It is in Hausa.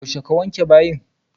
Yaushe ka wanke bayin?